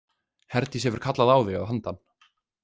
Herdís hefur kallað á þig að handan.